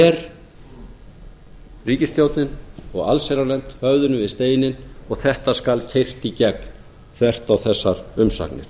ber ríkisstjórnin og allsherjarnefnd höfðinu við steininn og þetta skal keyrt í gegn þvert á þessar umsagnir